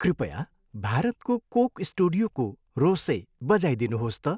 कृपया भारतको कोक स्टुडियोको 'रोसे' बजाइदिनुहोस् त।